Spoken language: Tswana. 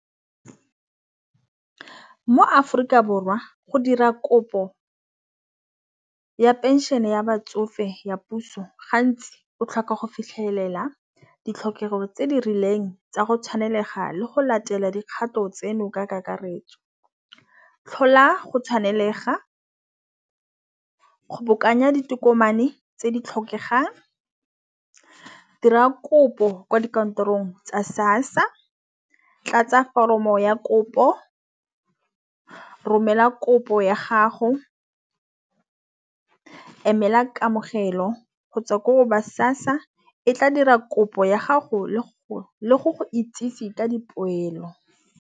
Mo-Aforika Borwa go dira kopo ya phenšene ya batsofe ya puso gantsi o tlhoka go fitlhelela ditlhokego tse di rileng tsa go tshwanelega le go latela dikgato tseno ka kakaretso. Tlhola go tshwanelega kgobokanya ditokomane tse di tlhokegang. Dira kopo kwa dikantorong tsa SASSA tlatsa foromo ya kopo romela kopo ya gago, emela kamogelo kgotsa ko ba SASSA e tla dira kopo ya gago le go le go itsisi ka dipoelo.